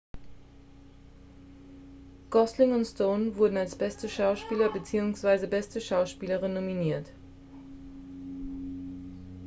gosling und stone wurden als bester schauspieler beziehungsweise beste schauspielerin nominiert